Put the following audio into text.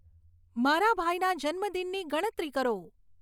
મારા ભાઈના જન્મદિનની ગણતરી કરો